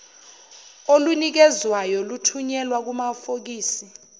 olunikezwayo luthunyelwa kumafokisi